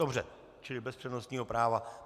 Dobře, čili bez přednostního práva.